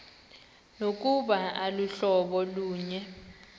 nokuba aluhlobo lunye